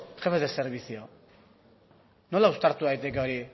jefes de servicio nola uztartu daiteke hori